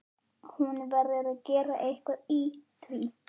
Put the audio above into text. Hún verður að gera eitthvað í því.